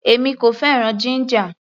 Èmi kò fẹ́ràn jíńjà.